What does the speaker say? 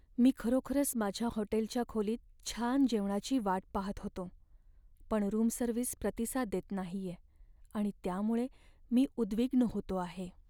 मी खरोखरच माझ्या हॉटेलच्या खोलीत छान जेवणाची वाट पाहत होतो, पण रूम सर्व्हिस प्रतिसाद देत नाहीये आणि त्यामुळे मी उद्विग्न होतो आहे.